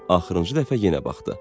Axırıncı dəfə yenə baxdı.